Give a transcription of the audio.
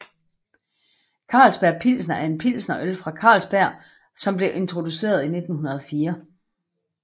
Carlsberg Pilsner er en pilsnerøl fra Carlsberg som blev introduceret i 1904